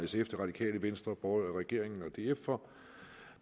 sf det radikale venstre regeringen og df for